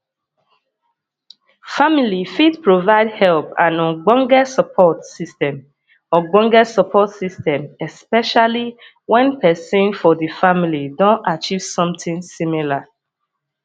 family fit provide help and ogbonge support system ogbonge support system especially when person for di family don achive something similar